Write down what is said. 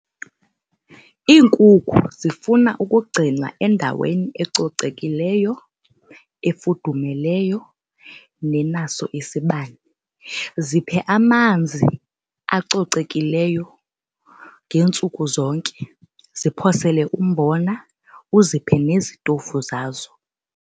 Iinkukhu zifuna ukugcinwa endaweni ecocekileyo, efudumeleyo nenaso isibane. Ziphe amanzi acocekileyo ngeentsuku zonke. Ziphosele umbona uziphe nezitofu zazo.